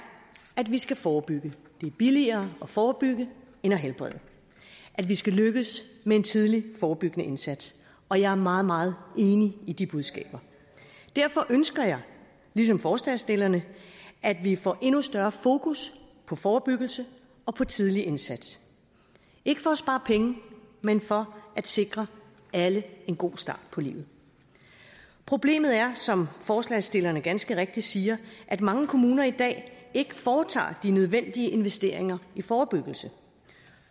at vi skal forebygge det er billigere at forebygge end at helbrede at vi skal lykkes med en tidlig forebyggende indsats og jeg er meget meget enig i de budskaber derfor ønsker jeg ligesom forslagsstillerne at vi får endnu større fokus på forebyggelse og tidlig indsats ikke for at spare penge men for at sikre alle en god start på livet problemet er som forslagsstillerne ganske rigtigt siger at mange kommuner i dag ikke foretager de nødvendige investeringer i forebyggelse